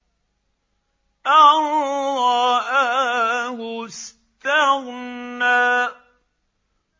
أَن رَّآهُ اسْتَغْنَىٰ